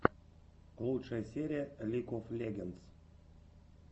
лучшая серия лиг оф легендс